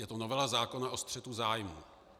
Je to novela zákona o střetu zájmů.